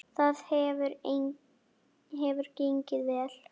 Það hefur gengið vel.